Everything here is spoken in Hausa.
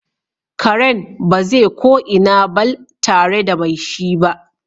Karen baze ko ina barl tare da me shi ba.